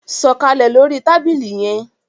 Sọkalẹ lórí tábìlì yén!